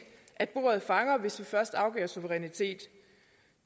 at bordet fanger hvis vi først afgiver suverænitet